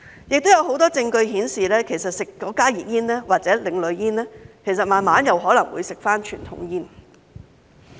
此外，有很多證據顯示，吸食加熱煙或另類煙後，慢慢可能會再吸食傳統煙。